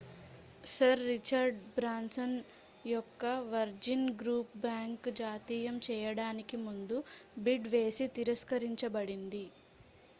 sir Richard Branson యొక్క Virgin group bank జాతీయం చేయడానికి ముందు బిడ్ వేసి తిరస్కరించబడింది